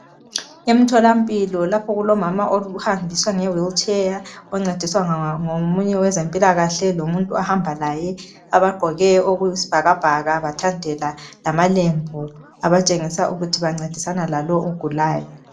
Emtholampilo lapho okulomama ohanjiswa nge wheelchair oncediswa ngomunye wezempilakahle lomuntu ohamba laye abagqkoke okuyisibhakabhaka bathandela lamalembu abatshengisa ukuthi bancedisana lalowu ogulayo.